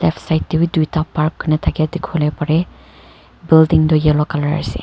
side tebi duita park kane thaki khole pare building tu yellow colour ase.